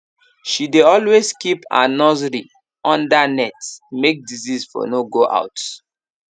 she dey always keep her nursery under net make disease for no go out